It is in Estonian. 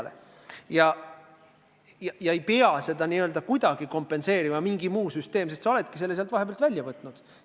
Mingi muu süsteem ei pea seda auku kuidagi kompenseerima, sest sa oled selle vahepeal juba välja võtnud.